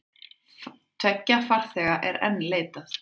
Tveggja farþega er enn leitað.